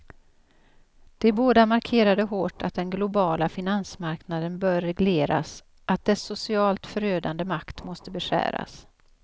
De båda markerade hårt att den globala finansmarknaden bör regleras, att dess socialt förödande makt måste beskäras.